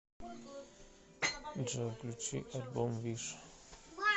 джой включить альбом виш